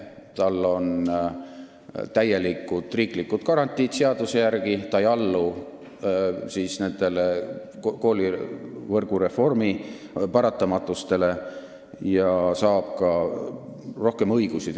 Tal on seaduse järgi täielikud riiklikud garantiid, ta ei allu koolivõrgu reformi paratamatustele ja saab ka rohkem õigusi.